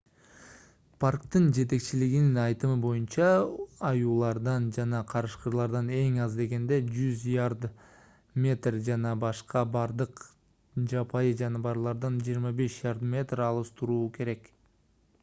парктын жетекчилигинин айтымы боюнча аюулардан жана карышкырлардан эң аз дегенде 100 ярд/метр жана башка бардык жапайы жаныбарлардан 25 ярд/метр алыс туруу керек